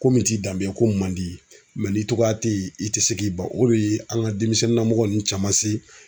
Ko min t'i danbe ye ko man di ni cogoya tɛ ye i tɛ se k'i ba o de ye an ka denmisɛnninnamɔgɔ ninnu caman se.